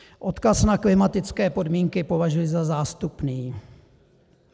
Odkaz na klimatické podmínky považuji za zástupný.